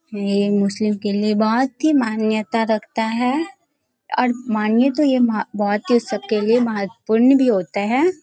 ये ये मुस्लिम के लिए बहुत ही मान्यता रखता है और मानिए तो ये बहुत ही उ सब के लिए महत्वपूर्ण होता है।